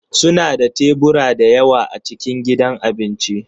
Suna da tebura da yawa a cikin gidan abinci